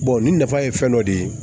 nin nafa ye fɛn dɔ de ye